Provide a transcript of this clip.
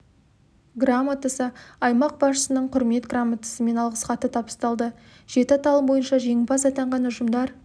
грамотасы аймақ басшысының құрмет грамотасы мен алғыс хаты табысталды жеті аталым бойынша жеңімпаз атанған ұжымдар